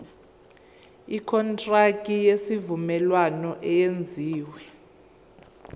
ikontraki yesivumelwano eyenziwe